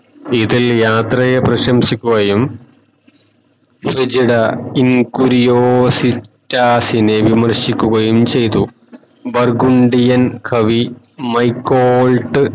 ഇതിൽ യാത്രയെ പ്രശംസിക്കുകയും ഇൻകുറിയാസിസ്റ്റസിനെ വിമർശിക്കുകയും ചയ്തു ബർഗുണ്ടിയൻ കവി മൈകോൾട്